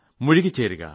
മുഴുകി ചേരുക